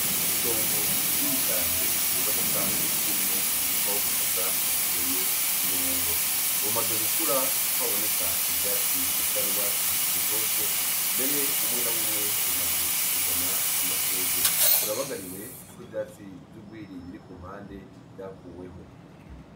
Itongo rinini cane riboneka, ririmwo umurima w'ubushaza uteye ku murongo. Bumaze gukura kuko haboneka ivyatsi bisa n'urwatsi rutoto, mbere bimwe na bumwe bumaze kuzana amashugwe. Burabagariwe kuko ivyatsi vy'urwiri biri ku mpande vyakuweho.